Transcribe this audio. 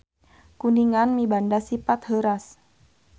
Kuningan mibanda sipat heuras.